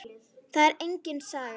Það er engin saga.